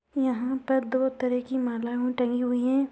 यहाँ पर दो तरह की मालाओं टंगी हुई है।